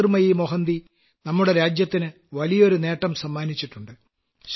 ജ്യോതിർമയി മോഹന്തിജിയും നമ്മുടെ രാജ്യത്തിന് വലിയൊരു നേട്ടം സമ്മാനിച്ചിട്ടുണ്ട്